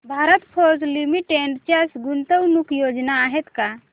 Bharat Forge Limited च्या गुंतवणूक योजना आहेत का